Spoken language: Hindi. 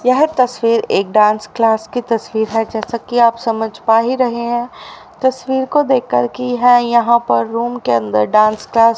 यह तस्वीर एक डांस क्लास की तस्वीर है जैसा कि आप समझ पा ही रहे हैं तस्वीर को देखकर की यह यहां पर रूम के अंदर डांस क्लास --